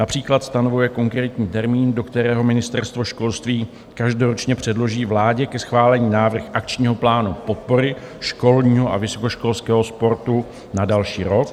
Například stanovuje konkrétní termín, do kterého Ministerstvo školství každoročně předloží vládě ke schválení návrh akčního plánu podpory školního a vysokoškolského sportu na další rok.